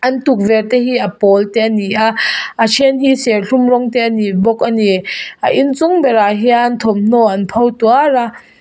an tukverhte hi a pawl te a ni a a then hi serthlum rawng te a ni bawk a ni a a inchung berah hian thawmhnaw an pho tuar a.